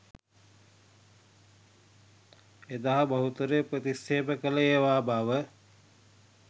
එදා බහුතරය ප්‍රතික්ෂේප කල ඒවා බව